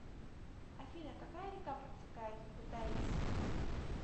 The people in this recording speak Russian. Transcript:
афина какая река протекает в кутаиси